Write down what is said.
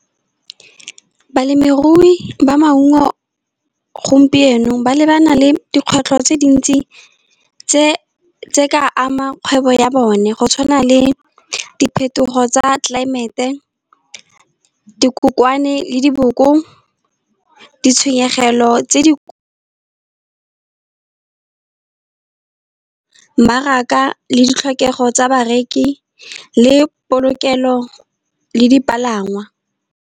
Balemirui ba maungo gompieno ba lebana le dikgwetlho tse dintsi, tse di ka ama dikgwebo ya bone. Go tshwana le phetogo ya climate, dikokwane le diboko, ditshenyegelo tse di , mmaraka le ditlhokego tsa bareki le polokelo le dipalangwa.